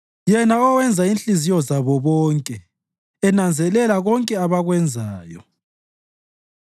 yena owenza inhliziyo zabo bonke, enanzelela konke abakwenzayo.